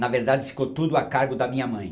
Na verdade, ficou tudo a cargo da minha mãe.